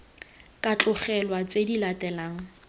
ka tlogelwa tse di latelang